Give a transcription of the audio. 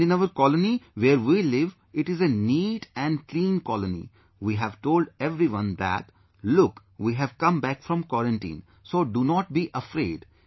And in our colony where we live, it is a neat and clean colony, we have told everyone that, look, we have come back from Quarantine, so do not be afraid